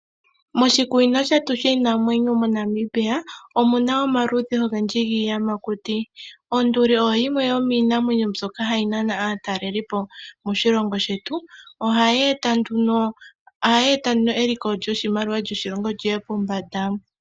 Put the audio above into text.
Moshikunino shetu shiinamwenyo moNamibia omu na omaludhi ogendji giiyamakuti. Onduli oyo yimwe yomiinamwenyo mbyoka hayi nana aatalelipo moshilongo shetu. Ohayi eta nduno eliko lyoshimaliwa lyoshilongo li ye pombanda.